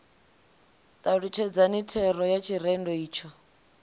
talutshedzani thero ya tshirendo itsho